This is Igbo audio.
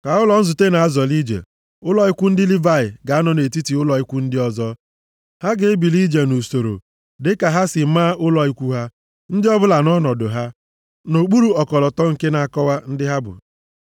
Ka ụlọ nzute na-azọli ije, ụlọ ikwu ndị Livayị ga-anọ nʼetiti ụlọ ikwu ndị ọzọ. Ha ga-ebili ije nʼusoro dịka ha si maa ụlọ ikwu ha. Ndị ọbụla nʼọnọdụ ha, nʼokpuru ọkọlọtọ nke na-akọwa ndị ha bụ.